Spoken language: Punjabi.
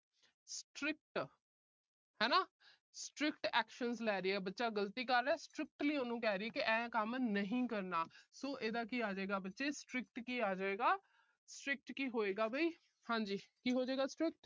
strict actions ਲੈ ਰਹੀ ਹੈ। ਬੱਚਾ ਗਲਤੀ ਕਰ ਰਿਹਾ। strictly ਉਹਨੂੰ ਕਹਿ ਰਹੀ ਐ, ਆਹ ਕੰਮ ਨਹੀਂ ਕਰਨਾ। so ਇਹਦਾ ਕੀ ਆ ਜਾਏਗਾ ਬੱਚੇ strict ਕੀ ਆਜੇਗਾ strict ਕੀ ਹੋਏਗਾ ਵੀ। ਹਾਂ ਜੀ ਕੀ ਹੋਜੇਗਾ strict